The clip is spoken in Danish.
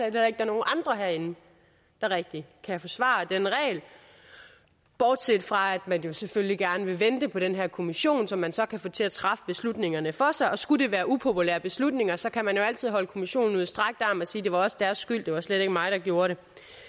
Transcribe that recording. at der er nogen andre herinde der rigtig kan forsvare den regel bortset fra at man jo selvfølgelig gerne vil vente på den her kommission som man så kan få til at træffe beslutningerne for sig og skulle det være upopulære beslutninger så kan man jo altid holde kommissionen ud i strakt arm og sige det var også deres skyld det var slet ikke mig der gjorde det